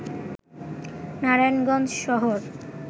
নারায়ণগঞ্জ শহর